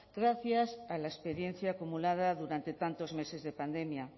gracias a la experiencia acumulada durante tantos meses de pandemia